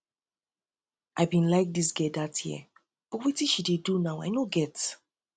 i be like like dis girl dat year but wetin she dey do now i no get